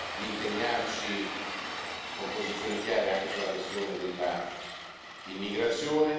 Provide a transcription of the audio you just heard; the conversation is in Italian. di impegnarci con posizioni chiare anche sulla questione dell'immigrazione.